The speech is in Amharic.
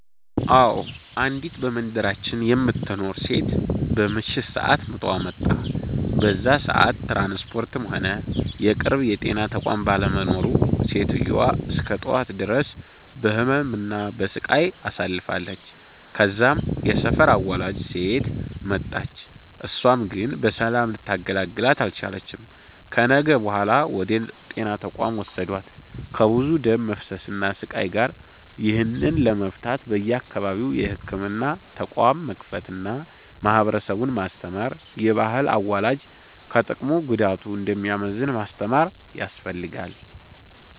አዎ፤ አንዲት በመንደራችን የምትኖር ሴት በምሽት ሰአት ምጧ መጣ። በዛ ሰአት ትራንስፖርትም ሆነ የቅርብ የጤና ተቋም ባለመኖሩ ሴትዮዋ እስከ ጠዋት ድረስ በህመም እና በሰቃይ አሳልፍለች። ከዛም የሰፈር አዋላጅ ሴት መጣች እሳም ግን በሰላም ልታገላግላት አልቻለችም። ከነጋ በኋላ ወደ ጤና ተቋም ወሰዷት ከብዙ ደም መፍሰስ እና ስቃይ ጋር። ይህንን ለመፍታት በየአካባቢው የህክምና ተቋም መክፈት አና ማህበረሰቡን ማስተማር፤ የባህል አዋላጅ ከጥቅሙ ጉዳቱ እንደሚያመዝን ማስተማር ያስፈልጋል።